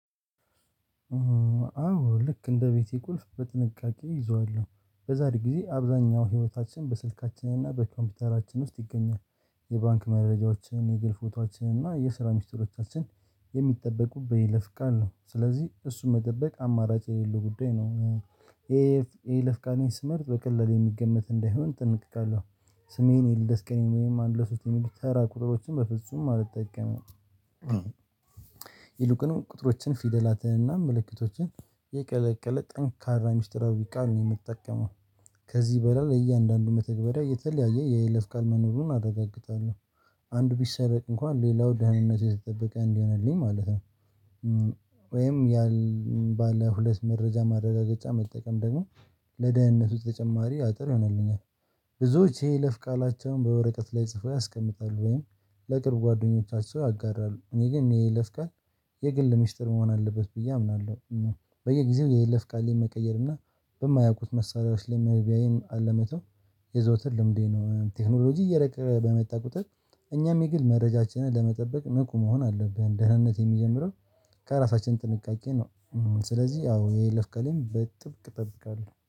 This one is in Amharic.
አዎ ልክ እንደ ቤቴ ቁልፍ በጥንቃቄ እይዘዋለሁ በዛሬ ጊዜ አብዛኛው ህይወታችን በስልካችንና በኮምፒውተራችን ውስጥ ይገኛል። የባንክ መረጃዎችን የገል ፎቶአችንና የስራ ሚስጥሮቻችን የሚጠበቁ በይለፍቃን ነው ስለዚህ እሱን መጠበቅ አማራጭ የሌለው ጉዳይ ነው። ይሄ ኤ ለፍቃኔ ስመርጥ በቀላሉ የሚገመት እንዳይሆን ጠንቅቃለሁ። ስሜን የልደስ ቀኔን ወይም አንድ ለሶስት የሚሉት ተራ ቁጥሮችን በፍጹም አልጠቀምም። ይልቁንም ቁጥሮችን ፊደላትን እና ምልክቶችን የቀለቀለ ጠንካራ ሚስጥራዊ ቃል ነው የምትጠቀመው። ከዚህ በላል እያንዳንዱ መተግበሪያ የተለያየ የይለፍ ቃል መኖሩን አረጋግጣለሁ። አንድ ቢሰረቅ እንኳን ሌላው ደህንነት የተጠበቀ እንዲህ እንዲሆንልኝ ማለት ነው። ወይም ያን ባለ ሁለት መረጃ ማረጋገጫ መጠቀም ደግሞ ለደህንነት ውስጥ ተጨማሪ አጥር ይሆናልኛል። ብዙዎች ይሄ ለፍ ቃላቸውን በወረቀት ላይ ጽፈው ያስቀምጣሉ ወይም ለቅርብ ጓደኞቻቸው ያጋራሉ እኔ ግን ይሄ ይለፍቃል የግል ሚስጥር መሆን አለበት ብዬ አምናለሁ። በየጊዜው የለፍ ቃሌን መቀየር እና በማያውቁት መሳሪያዎች ላይ መግቢያዬን አለመተው የዘውትር ልምዴ ነው። ቴክኖሎጂ እየረቀቀ በመጣ ቁጥጥር እኛም የግል መረጃችንን ለመጠበቅ ንቁ መሆን አለብህ። ደህንነት የሚጀምረው ከራሳችን ጥንቃቄ ነው። ስለዚህ አዎ የለፍ ቀሌም በጥብቅ ጠብቃለሁ